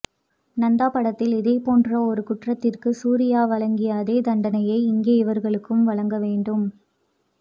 நந்தா படத்தில் இதே போன்ற ஒரு குற்றத்திற்கு சூரியா வழங்கிய அதே தண்டனையை இங்கே இவர்களுக்கும் வழங்கவேண்டும்